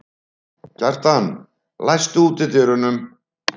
Kjartan, læstu útidyrunum.